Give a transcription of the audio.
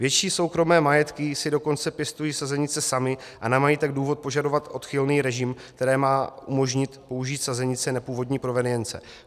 Větší soukromé majetky si dokonce pěstují sazenice samy, a nemají tak důvod požadovat odchylný režim, který má umožnit použít sazenice nepůvodní provenience.